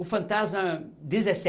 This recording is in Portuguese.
O fantasma